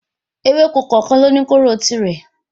Ewéko kòòkan ni ó ní kóóró tirẹ̀